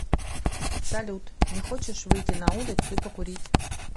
салют не хочешь выйти на улицу и покурить